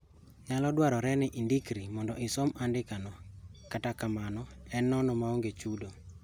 Nyalo dwarore ni indikri mondo isom andika no kata kamano en nono maonge chudo